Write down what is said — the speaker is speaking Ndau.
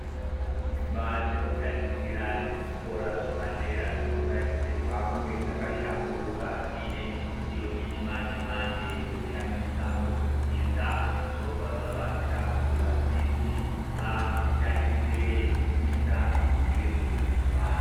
Imba dzekutatichira dzezvikora zvepadera dzinotarisirwa kunge dzakashamburuka dzinemidziyo yechi manje manje yekushandisa mukudzidza zvobva zvabatsira kuti vadzidzi vakasike veizwisisa zvinenge zvei dzidzwa